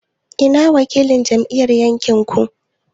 I na wakilin ajin ku yake?